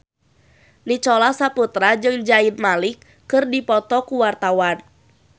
Nicholas Saputra jeung Zayn Malik keur dipoto ku wartawan